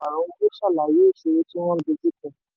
díẹ̀ lára olùpàrọ̀ owó ṣàlàyé ìṣòro tí wọ́n dojúkọ.